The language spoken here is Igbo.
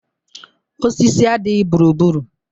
Osisi adịghị gburugburu.